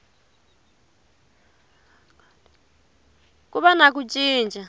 ku va na ku cinca